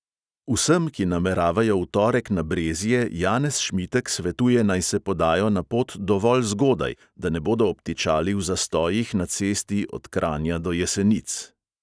Vsem, ki nameravajo v torek na brezje, janez šmitek svetuje, naj se podajo na pot dovolj zgodaj, da ne bodo obtičali v zastojih na cesti od kranja do jesenic.